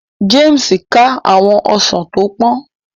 James ká àwọn Ọsán tó pòn